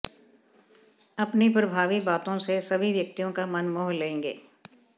अपनी प्रभावी बातों से सभी व्यक्तियों का मन मोह लेंगे